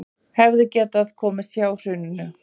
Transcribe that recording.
Hefðu getað komist hjá hruninu